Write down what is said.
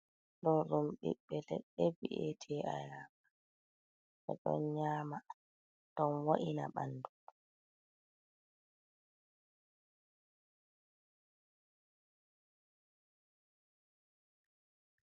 Ɗo ɗum biɓɓe leɗɗe we'ete ayaaba, ɓe ɗon nyamaa don wa’ina bandu.